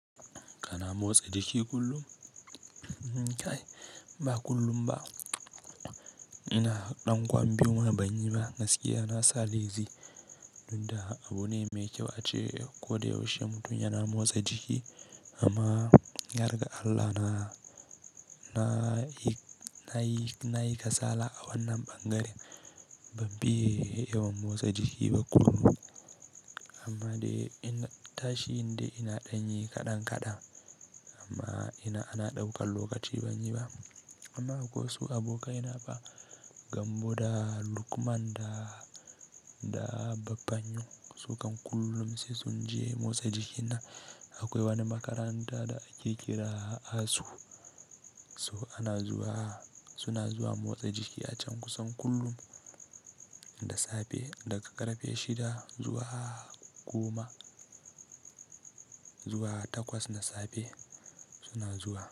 Kana motsa jiki kullum? Ba kullum ba. Ina ɗan kwambi kuma ban yi ba. Gaskiya na sa lai, tun da abune mai kyau ace ko da yaushe mutum yana motsa jiki amma, yarga Allah na, na yi, na yi kasala a wannan ɓangaren. Ban biye yawon motsa jiki ba kullum amma dai ina tashi in dai ina ɗanyi kaɗan kaɗan amma ina, ana ɗaukan lokaci ban yi ba. Amma akwai wasu abokanai na ba Gambo da Lukman da, da Baffa yo su kam kullum sai sun je motsa jiki na. Akwai wani makaranta da ake kira ASU. So ana zuwa, suna zuwa motsa jiki a can kusan kullum, da safe daga ƙarfe shida zuwa goma zuwa takwas na safe suna zuwa.